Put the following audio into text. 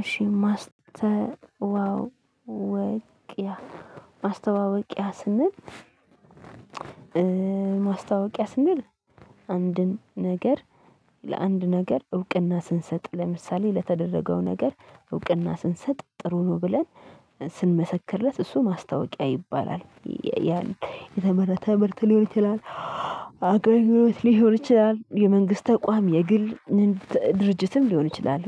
እሺ ማስተዋወቂያ ማስተዋወቂያ ስንል ማስተዋወቂያ ስንል አንድን ነገር ለአንድ ነገር እውቅና ስንሰጥ ለምሳሌ ለተደረገው ነገር እውቅና ስንሰጥ ጥሩ ነው ብለን ስንመሰክርለት እሱ ማስታወቂያ ይባላል። የተመረተ ምርት ሊሆን ይችላል። አቅርቦት ሊሆን ይችላል የመንግስት ተቋም የግል ድርጅትም ሊሆን ይችላል።